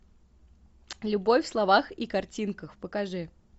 любовь в словах и картинках покажи